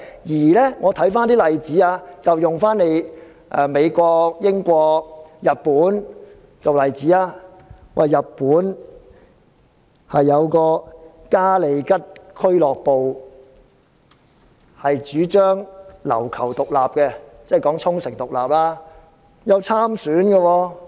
讓我們看看美國、英國及日本的例子，日本嘉利吉俱樂部主張琉球獨立，該俱樂部有派人參選。